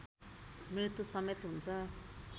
मृत्युसमेत हुन्छ